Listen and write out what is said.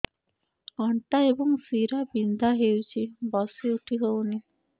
ଅଣ୍ଟା ଏବଂ ଶୀରା ବିନ୍ଧା ହେଉଛି ବସି ଉଠି ହଉନି